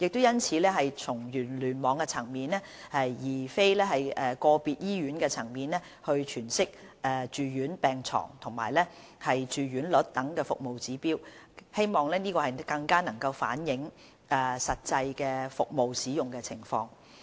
因此，從聯網層面而非個別醫院層面詮釋住院病床住用率等服務指標，更能反映實際的服務使用情況。